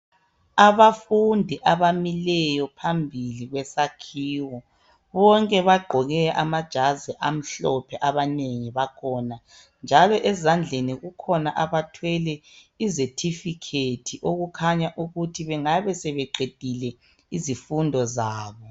Abafundi abamileyo phambi kwesakhiwo bonke bagqoke amajazi amhlophe amhlophe njalo ezandleni bakhona abathwele izetifikhethi ezitshengisa ukuba bengabe sebeqedile izifundo zabo .